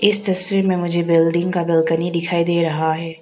इस तस्वीर में मुझे बिल्डिंग का बालकनी दिखाई दे रहा है।